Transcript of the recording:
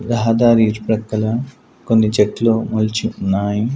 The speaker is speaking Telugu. రహదారి ఇరు ప్రక్కల కొన్ని చెట్లు మొలిచి ఉన్నాయి.